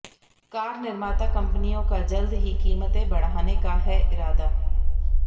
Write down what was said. car निर्माता कंपनियों का जल्द ही कीमतें बढ़ाने का है इरादा